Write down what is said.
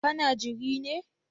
Ka na jiri ne?